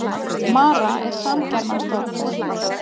mara er samgermanskt orð